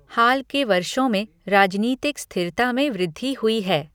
हाल के वर्षों में, राजनीतिक स्थिरता में वृद्धि हुई है।